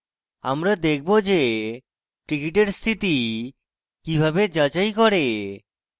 আমরা দেখব যে tickets স্থিতি কিভাবে যাচাই করে